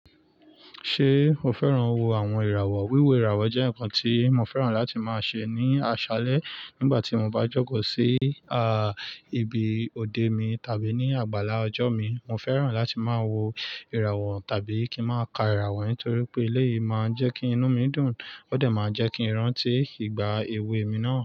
Ṣé o fẹ́ràn wo àwọn ìràwọ̀? Wíwo ìràwọ̀ jẹ́ ǹkan tí mo fẹ́ràn láti máa ṣe ní àṣálẹ́ nígbà tí mo bá jọ̀kọ̀ sí, à, ibi òde mi tàbí ní àgbàlá ọjọ́ mi. Mo fẹ́ràn láti máa wo ìràwọ̀ tàbí kí ń máa ka ìràwọ̀ nítorí pé eléyìí máa ń jẹ́ kí inú mi dùn ó dẹ̀ máa ń jẹ́ kí ìrántí ìgbà èwe mi náà.